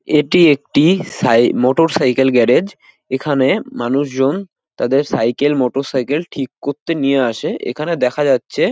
এটি একটি সাই মোটরসাইকেল গ্যারেজ । এখানে মানুষজন তাদের সাইকেল মোটরসাইকেল ঠিক করতে নিয়ে আসে এখানে দেখা যাচ্ছে--